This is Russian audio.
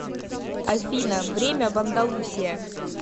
афина время в андалусия